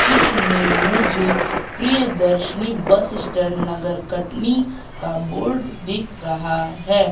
चित्र में मुझे प्रियदर्शनी बस स्टैंड नगर कटनी का बोर्ड दिख रहा है।